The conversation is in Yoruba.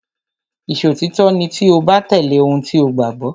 Ìṣòtítọ́ ni tí o bá tẹ̀lé ohun tí o gbàgbọ́.